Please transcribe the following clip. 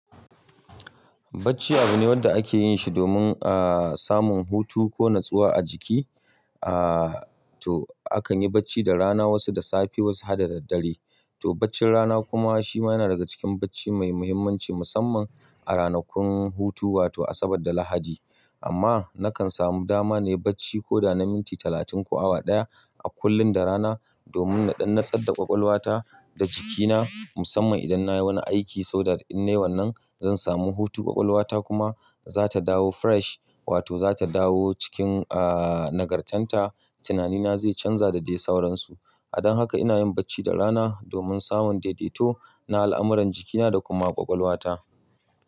Bacci abu ne wanda ake yin shi domin, ah, samun hutu ko natsuwa a jiki. Ah, to akan yi bacci da rana, wasu da safe, wasu haka da daddare. To baccin rana kuma shi ma yana daga cikin bacci mai muhimmanci musamman a ranakun hutu wato Asabar da Lahadi. Amma nakan samu dama na yi bacci ko da na minti talatin ko awa ɗaya a kullum da rana domin naɗan na tsadda ƙwaƙwalwata da jikina musamman idan na yi wani aiki so that innai wannan zan samu hutu ƙwaƙwalwata kuma za ta dawo fresh wato za ta dawo cikin, ah, nagartanta. Tinani na zai canza da dai sauransu. A dan haka ina yin bacci da rana domin samun daidaito na al'amuran jikina da kuma ƙwaƙwalwata.